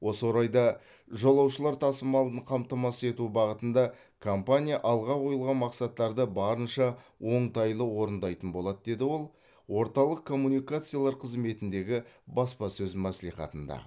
осы орайда жолаушылар тасымалын қамтамасыз ету бағытында компания алға қойылған мақсаттарды барынша оңтайлы орындайтын болады деді ол орталық коммуникациялар қызметіндегі баспасөз мәслихатында